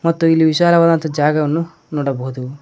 ಮತ್ತು ಇಲ್ಲಿ ವಿಶಾಲವಾದಂತಹ ಜಾಗವನ್ನು ನೋಡಬಹುದು.